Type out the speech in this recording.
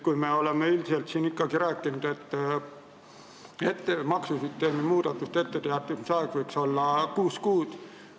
Me oleme üldiselt siin ikkagi rääkinud, et maksusüsteemi muudatustest etteteatamise aeg võiks olla kuus kuud.